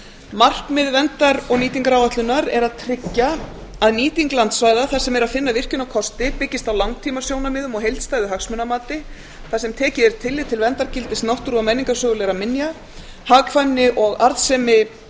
markmið verndar og nýtingaráætlunar er að tryggja að nýting landsvæða þar sem er að finna virkjunarkosti byggist á langtímasjónarmiðum og heildstæðu hagsmunamati þar sem tekið er tillit til verndargildis náttúru og menningarsögulegra minja hagkvæmni og arðsemi